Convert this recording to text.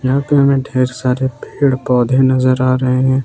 यहां पे हमें ढेर सारे पेड़ पौधे नजर आ रहे हैं।